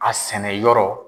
A sɛnɛ yɔrɔ.